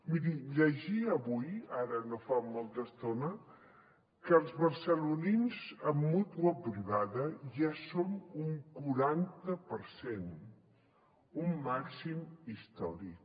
miri llegia avui ara no fa molta estona que els barcelonins amb mútua privada ja són un quaranta per cent un màxim històric